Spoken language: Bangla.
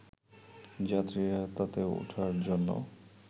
যাত্রীরা তাতে ওঠার জন্য